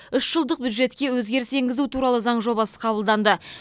үш жылдық бюджетке өзгеріс туралы заң жобасы қабылданды